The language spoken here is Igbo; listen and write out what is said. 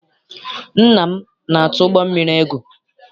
Nna m na-atụ ụgbọ mmiri egwu.